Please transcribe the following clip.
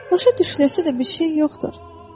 Başa düşüləcək bir şey yoxdur.